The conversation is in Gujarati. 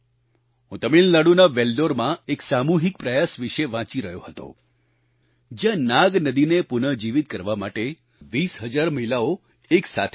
હું તમિલનાડુના વેલ્લોરમાં એક સામૂહિક પ્રયાસ વિશે વાંચી રહ્યો હતો જ્યાં નાગ નદીને પુનઃજીવિત કરવા માટે 20 હજાર મહિલાઓ એક સાથે આવી